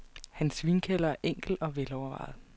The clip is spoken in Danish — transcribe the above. Hans vinkælder er enkel og velovervejet.